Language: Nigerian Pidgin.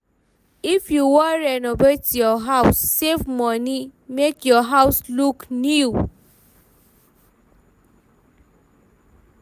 If you wan renovate your house, save money, make your house look new